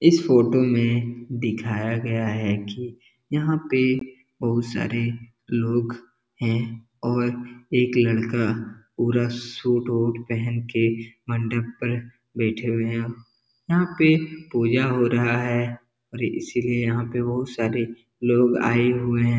इस फोटो में दिखाया गया है की यहाँ पे बहोत सारे लोग हैं और एक लड़का पूरा सूट वूट पहन के मंडप पर बैठे हुए है यहाँ पे पूजा हो रहा है और इसीलिए यहाँ पे बहोत सारे लोग आए हुए हैं।